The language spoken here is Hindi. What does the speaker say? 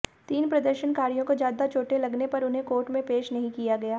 तीन प्रदर्शनकारियों को ज्यादा चोटें लगने पर उन्हें कोर्ट में पेश नहीं किया गया